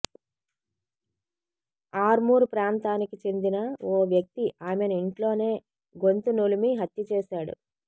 ఆర్మూర్ ప్రాంతానికి చెందిన ఓ వ్యక్తి ఆమెను ఇంట్లోనే గొంతు నులిమి హత్య చేశాడు